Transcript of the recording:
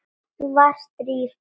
Var Drífa.?